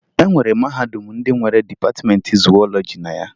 E nwere mahadum ndị nwere dịpatịmeentị zuwọlọji na ya